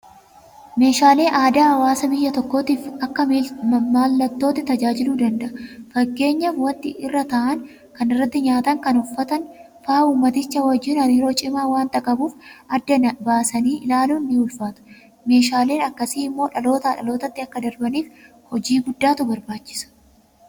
Meeshaaleen aadaa hawaasa biyya tokkootiif akka mallattootti tajaajiluu danda'a. Fakkeenyaaf waanti irra taa'an, kan irratti nyaatan, kan uffatan fa'aa uummaticha wajjin hariiroo cimaa waanta qabuuf addaan naasanii ilaaluun ni'ulfaata. Meeshaaleen akkasii immoo dhalootaa dhalootatti akka darbaniif hojii guddaatu barbaachisa.